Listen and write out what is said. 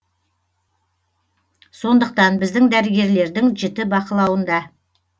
сондықтан біздің дәрігерлердің жіті бақылауында